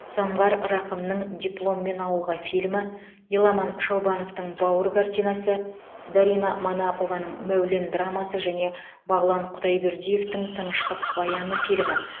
самғар рақымның дипломмен ауылға фильмі еламан шаубановтың бауыр картинасы дарина манапованың мәулен драмасы және бағлан құдайбердиевтің тыныштық баяны фильмі